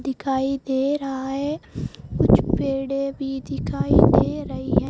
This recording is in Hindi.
दिखाई दे रहा है कुछ पेड़ें भी दिखाई दे रही है।